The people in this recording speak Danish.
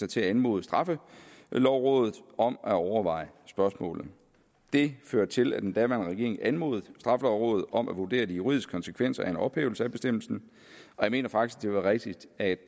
til at anmode straffelovrådet om at overveje spørgsmålet det førte til at den daværende regering anmodede straffelovrådet om at vurdere de juridiske konsekvenser af en ophævelse af bestemmelsen og jeg mener faktisk det er rigtigst at